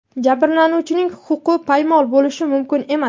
Jabrlanuvchining huquqi poymol bo‘lishi mumkin emas.